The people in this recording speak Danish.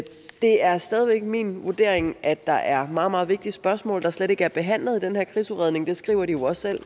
det er stadig væk min vurdering at der er meget meget vigtige spørgsmål der slet ikke er behandlet i den her krigsudredning det skriver de jo også selv